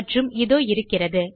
மற்றும் இதோ இருக்கிறது